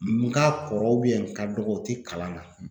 N ka kɔrɔ n ka dɔgɔ u ti kalan na